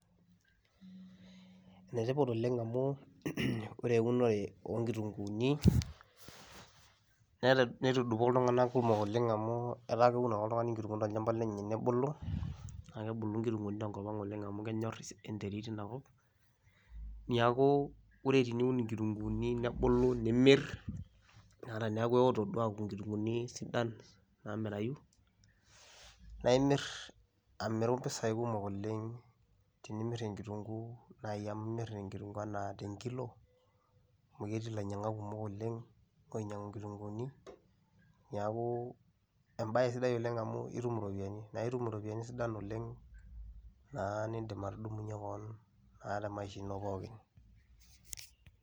enetipat oleng amu ore euno oonkitunkuuni netudupo iltungana kumok oleng amu etaa keun ake oltungani inkitunkuuni tolchampa lenye nebulu, naa kebulu nkitunkuuni tenkop ang oleng amu kenyor enetrit eina kop, neeku ore teniun inkitunkuuni nebulu, nimir teneeku eeoto duo aaku nkitunkuuni sidan. naamirayu. naaimir amiru mpisai kumok oleng, amu imir inkitunkuuni anaa tenkilo. amu ketii ilainyiangak kumok oleng oinyiangu nkitunkuuni. niaku ebae siai oleng amu itum iropiyiani, naa itum iropiyiani sidain oleng naa nidim atudumunye keon naa temaisha ino pookin.